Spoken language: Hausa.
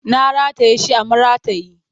Na rataye shi a maratayi